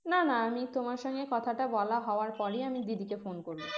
না না আমি তোমার সঙ্গে কথাটা বলা হওয়ার পরেই আমি দিদিকে phone করবো